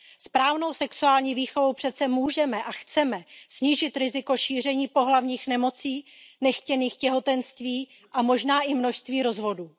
Správnou sexuální výchovou přece můžeme a chceme snížit riziko šíření pohlavních nemocí, nechtěných těhotenství a možná i množství rozvodů.